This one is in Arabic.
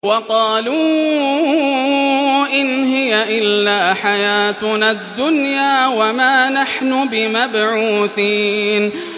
وَقَالُوا إِنْ هِيَ إِلَّا حَيَاتُنَا الدُّنْيَا وَمَا نَحْنُ بِمَبْعُوثِينَ